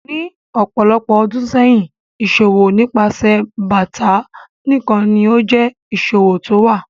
Ní ọpọ̀lọpọ̀ ọdún sẹyin, iṣọwọ̀ nípasẹ̀ báátà nikán ló jẹ iṣọwọ̀ tówa.